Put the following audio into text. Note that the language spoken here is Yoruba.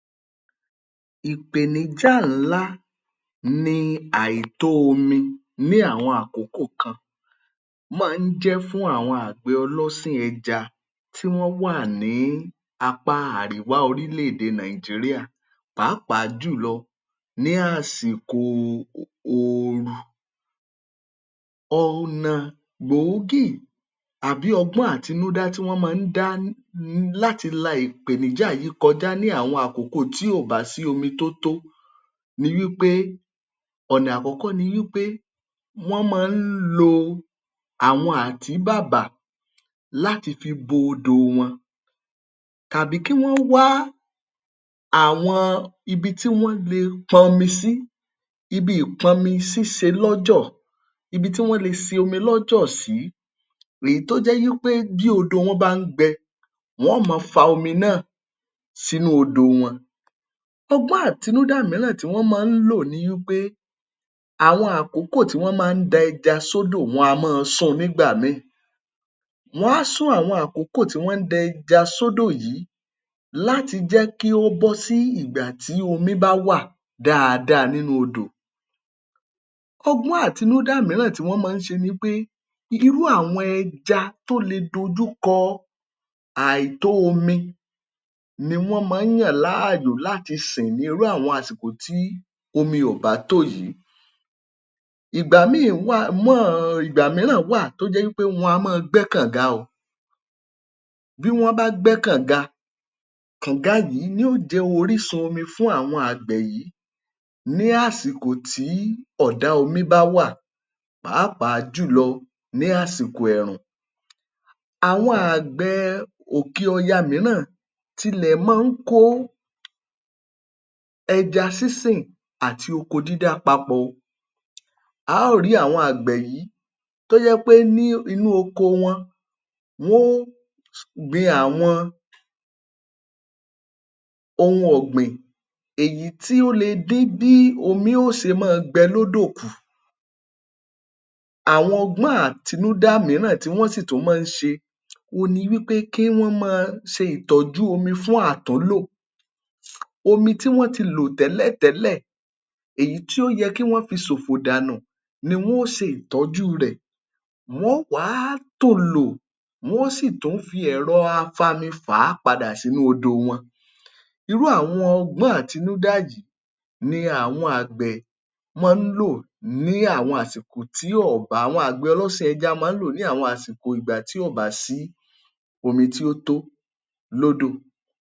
Ìpèníjá ńlá ni àìtó omi máa ń jẹ́ fún àwọn àgbẹ̀ ọlọ́sìn ẹja tí wọ́n wà ní apá àríwá orílẹ̀-èdè Nàìjíríà. Pàápàá jùlọ ní àsìkò ooru. Ọ̀nà gbòógì àbí ọgbọ́n àtinúdá tí wọ́n máa ń dá láti la ìpèníjà yìí kọjá ní àwọn àkókò tí ò bá sí omi tó tó ní wí pé ọ̀nà àkọ́kọ́ ni wí pé wọ́n máa ń lo àwọn àtíbàbà láti fo bo odòo wọn tàbí kí wọ́n wá àwọn ibi tí wọ́n le pọ̀nmi sí, ibi ìpọnmi-sí ibi ìpọnmi-sí ṣe lọ́jọ̀; ibi tí wọ́n le ṣe omi lọ́jọ̀ sí; èyí tó jẹ́ wí pé bí odò wọn bá ń gbẹ, wọ́n ó máa fa omi náà sínú odòo wọn. Ọgbọ́n àtinúdá mìíràn tí wọ́n mọ́-ọn ń lò ni wí pé àwọn àkókò tí wọ́n mọ́-ọn ń da ẹja s’ódò wọn a mọ́-ọn sun nígbà míì. Wọ́n á sún àwọn àkókò tí wọ́n ń da ẹja s’ódò yìí láti jẹ́ kí ó bọ́ sí ìgbà tí omi bá wà dáadáa nínú odò. Ọgbọ́n àtinúdá mìíràn tí wọ́n mọ́-ọn ṣe ni wí pé irú àwọn ẹja tó le dojúkọ àìtó omi ni wọ́n mọ́-ọn ń yàn láàyò láti sìn ní irú àwọn àsìkò tí omi ò bá tó yìí. Ìgbà míì wà mọ́ ìgbà mìíràn wà tó jẹ́ wí pé wọna máa gbẹ́ kànga. Bí wọ́n bá gbẹ́ kànga, kànga yìí ni yóò jẹ́ orísun omi fún àwọn àgbẹ̀ yìí ní àsìkò tí ọ̀dá omi bá wà pàápàá jùlọ ní àsìkò ẹrùn. Àwọn àgbẹ̀ òkè ọya mìíràn tilẹ̀ máa ń kó ẹja sínsìn àti oko dídá papọ̀ o. A ó rì í àwọn àgbẹ̀ yìí tó jẹ́ pé ní inú oko wọn wó gbin àwọn ohun ọ̀gbìn èyí tí ó le dí bí omi ó ṣe máa gbẹ lódò kù. Àwọn ọgbọ́n àtinúdá mìíràn tí wọ́n sì tún máa ń ṣe ni wí pé kí wọ́n máa ṣe ìtọ́jú omi fún àtúnlò. Omi tí wọ́n ti lò tẹ́lẹ̀tẹ́lẹ̀ èyí tí ó yẹ kí wọ́n fi ṣòfò dànù ni wọ́n ó ṣe ìtọ́jú rẹ̀. Wọ́n ó wà á tò lò, wọ́n ó sì tún fi ẹ̀rọ afami fà á padà sínú odò wọn irú àwọn ọgbọ́n àtinúdá yìí ni àwọn àgbẹ̀ máa ń lò ní àwọn àsìkò tí ọ̀ bá ni àwọn ọlọ́sìn ẹ̀ja máa ń lò ní àwọn àsìkò tí ọ̀ bá sí omi tí ó tó lódò.